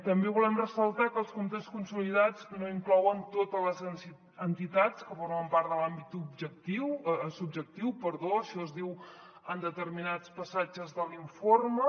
també volem ressaltar que els comptes consolidats no inclouen totes les entitats que formen part de l’àmbit subjectiu això es diu en determinats passatges de l’informe